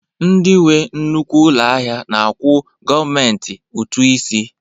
Ndị nwe nnukwu ụlọ ahịa na-akwụ gọọmentị ụtụ isi